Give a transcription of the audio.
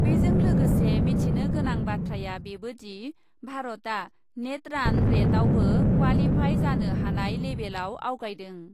बेजों लोगोसे मिथिनो गोनां बाथ्राया बेबोदि , भारतआ नेट रान रेटआवबो क्वालिफाइ जानो हानाय लेभेलआव आवगायदों ।